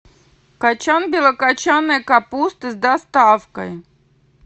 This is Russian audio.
качан белокочанной капусты с доставкой